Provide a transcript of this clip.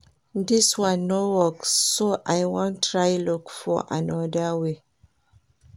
Dis one no work so I wan try look for another way